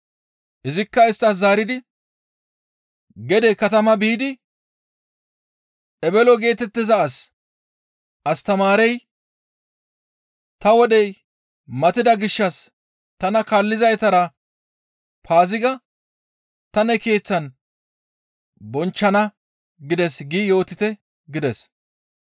Izikka isttas zaaridi gede katama biidi ebelo geetettiza as, «Astamaarey, ‹Ta wodey matida gishshas tana kaallizaytara Paaziga ta ne keeththan bonchchana gides› gi yootite» gides.